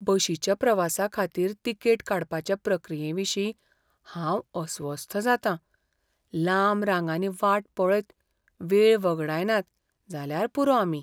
बशीच्या प्रवासाखातीर तिकेट काडपाचे प्रक्रियेविशीं हांव अस्वस्थ जातां , लांब रांगांनी वाट पळयत वेळ वगडायनात जाल्यार पुरो आमी.